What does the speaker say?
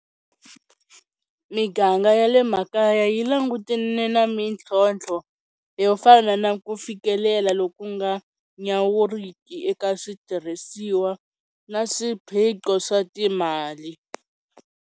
Miganga ya le makaya yi langutene na mintlhontlho yo fana na ku fikelela loku nga nyawuriki eka switirhisiwa na swiphiqo swa timali.